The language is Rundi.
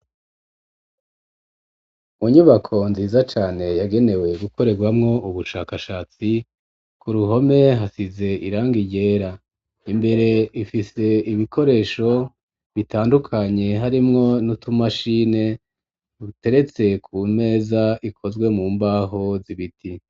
Mu nyubako nziza cane ,yagenewe gukorerwamwo ubushakashatsi ,ku ruhome hasize irangai ryera ,imbere ifise ibikoresho bitandukanye ,harimwo n'utumashine ,buteretse ku meza ikozwe mu mbaho zibiti.